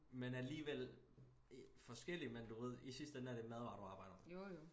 Men alligevel forskellig men du ved i sidste ende er det madvarer du arbejder med